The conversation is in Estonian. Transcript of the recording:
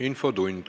Infotund.